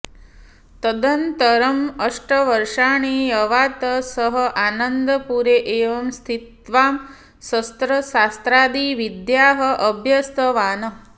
तदनन्तरम् अष्टवर्षाणि यावत् सः आनन्दपुरे एव स्थित्वा शस्त्रशास्त्रादिविद्याः अभ्यस्तवान्